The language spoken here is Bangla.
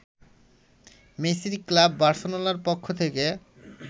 মেসির ক্লাব বার্সেলোনার পক্ষ থেকে